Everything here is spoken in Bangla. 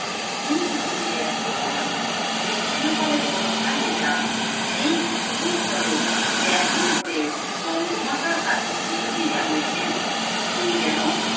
কিন্তু যদি ব্যর্থ হন যদি চিরকালের মতো হারিয়ে যান সেই ভীতির ফলে ব্যাকুল হয়ে বঙ্গমাতার কাছে মিনতি জানিয়েছেন তিনি যেন